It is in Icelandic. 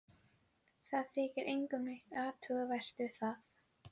Það þykir engum neitt athugavert við það.